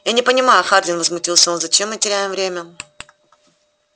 я не понимаю хардин возмутился он зачем мы теряем время